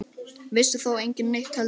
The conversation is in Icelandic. Vissi þá enginn neitt heldur?